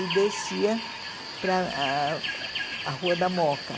e descia para ah a Rua da Mooca.